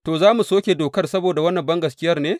To, za mu soke dokar saboda wannan bangaskiyar ne?